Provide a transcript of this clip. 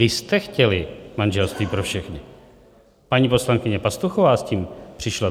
Vy jste chtěli manželství pro všechny, paní poslankyně Pastuchová s tím přišla.